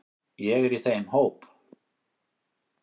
Ég er í þeim hóp.